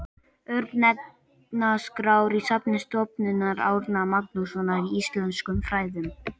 örnefnaskrár í safni stofnunar árna magnússonar í íslenskum fræðum